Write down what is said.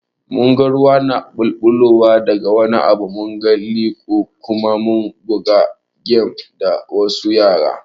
Mun ga ruwa na ɓulɓulowa da ga wani abu, munga lilo Kuma mun buga gem da wasu yara.